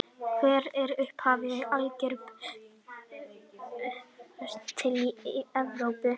Hvert er upphaf algebru og hvenær barst hún til Evrópu?